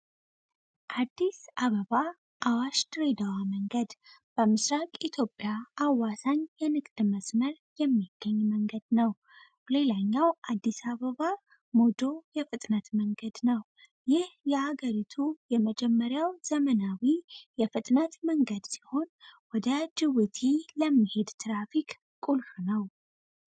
አዲስ አበባ አዋሽ ድሬዳዋ መንገድ በኢትዮጵያ አዋሳኝ የንግድ መስመር የሚገኝ መንገድ ነው። ሌላኛው አዲስ አበባ ሞጆ የፍጥነት መንገድ ነው፤ ይህ የአገሪቱ የመጀመሪያው ዘመናዊ የፍጥነት መንገድ ሲሆን ወደ ጅቡቲ ለሚሄዱ ትራፊክ ቁልፍ ነው።